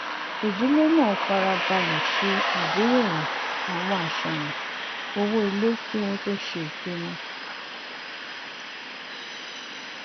ìdílé náà fara balẹ ṣe àgbeyẹwò àwọn àṣàyàn owó ilé kí wọn tó ṣe ìpinnu